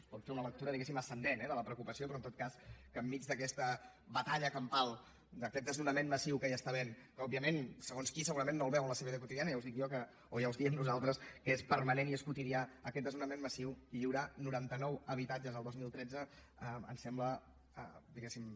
es pot fer una lectura diguéssim ascendent eh de la preocupació però en tot cas que enmig d’aquesta batalla campal d’aquest desnonament massiu que hi ha que òbviament segons qui segurament no el veu a la seva vida quotidiana ja els dic jo o ja us diem nosaltres que és permanent i és quotidià aquest desnonament massiu lliurar noranta nou habitatges el dos mil tretze ens sembla diguéssim